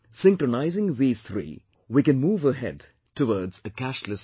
Synchronising these three, we can move ahead towards a cashless society